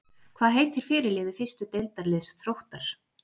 Hvað heitir fyrirliði fyrstu deildarliðs Þróttar?